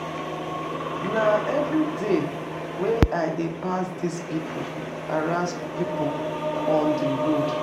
Nah everyday wey I dey pass this people harass people on the road